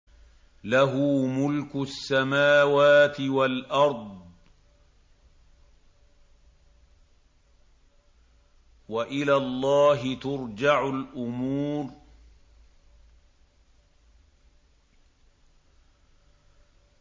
لَّهُ مُلْكُ السَّمَاوَاتِ وَالْأَرْضِ ۚ وَإِلَى اللَّهِ تُرْجَعُ الْأُمُورُ